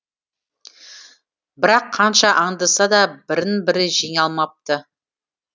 бірақ қанша аңдыса да бірін бірі жеңе алмапты